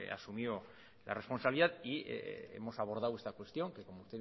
asumió la responsabilidad y hemos abordado esta cuestión que como